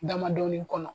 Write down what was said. Damadɔni kɔnɔ